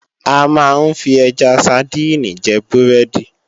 A máa ń fi ẹja sadíìnì jẹ búrẹ́dì